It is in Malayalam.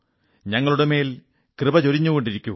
ഞങ്ങളുടെ മേൽ കൃപ ചൊരിഞ്ഞുകൊണ്ടിരിക്കൂ